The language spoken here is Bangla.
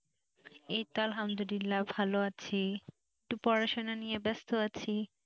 এই তো আলহামদুল্লিলা ভালো আছি একটু পড়াশোনা নিয়ে ব্যস্ত আছি,